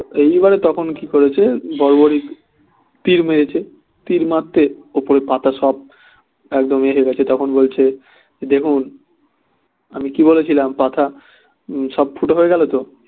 তো এই বারে তখন কি করেছে বর্বরী তীর মেরেছে তীর মারতে উপরের পাতা সব একদম তখন বলছে দেখুন আমি কি বলেছিলাম পাতা সব ফুটো হয়ে গেলো তো